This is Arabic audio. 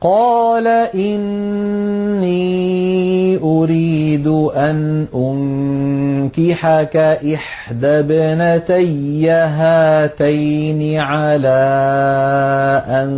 قَالَ إِنِّي أُرِيدُ أَنْ أُنكِحَكَ إِحْدَى ابْنَتَيَّ هَاتَيْنِ عَلَىٰ أَن